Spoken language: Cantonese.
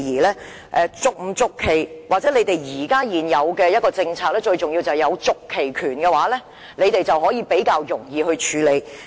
關於續期與否或現行的政策，最重要的是擁有續期權，因為這樣會較容易處理。